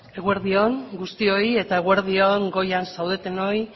eskerrik asko eguerdi on guztioi eta eguerdi on goian zaudetenoi